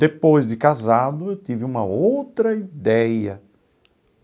Depois de casado, eu tive uma outra ideia.